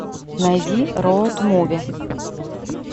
найди роад муви